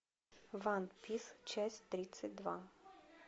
ван пис часть тридцать два